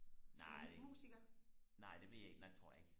nej nej det ved jeg ikke nej det tror jeg ikke